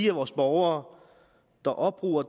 af vores borgere der opbruger